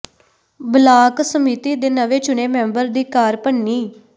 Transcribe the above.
block ਸਮਿਤੀ ਦੇ ਨਵੇਂ ਚੁਣੇ ਮੈਂਬਰ ਦੀ ਕਾਰ ਭੰਨੀ